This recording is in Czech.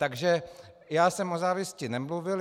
Takže já jsem o závisti nemluvil.